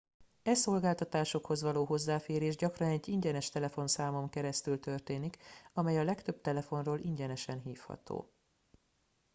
e szolgáltatásokhoz való hozzáférés gyakran egy ingyenes telefonszámon keresztül történik amely a legtöbb telefonról ingyenesen hívható